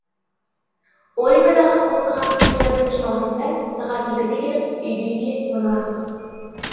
ольгадағы постыға жиырма бірінші маусымда сағат екіде келіп үйді үйге орналастық